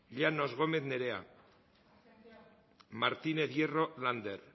llanos gómez nerea martínez hierro lander